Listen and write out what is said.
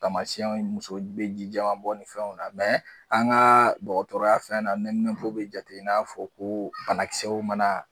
Tamasiɛnw muso bɛ ji jɛman bɔ ni fɛnw na an ka dɔgɔtɔrɔya fɛn na nɛmɛnpow bɛ jate i n'a fɔ ko banakisɛw mana